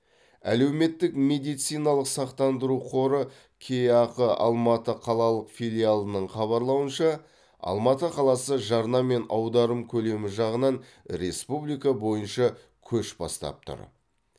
әлеуметтік медициналық сақтандыру қоры кеақ алматы қалалық филиалының хабарлауынша алматы қаласы жарна мен аударым көлемі жағынан республика бойынша көш бастап тұр